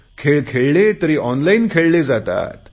खेळ खेळले तरी ऑनलाईन खेळले जातात